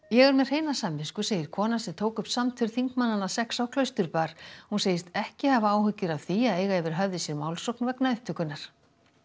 ég er með hreina samvisku segir konan sem tók upp samtöl þingmannanna sex á hún segist ekki hafa áhyggjur af því að eiga yfir höfði sér málsókn vegna upptökunnar